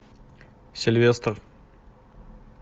сильвестр